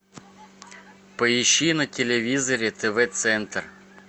поищи на телевизоре тв центр